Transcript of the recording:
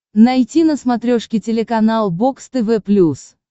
найти на смотрешке телеканал бокс тв плюс